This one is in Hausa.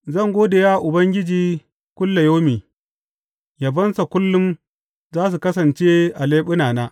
Zan gode wa Ubangiji kullayaumi; yabonsa kullum za su kasance a leɓunana.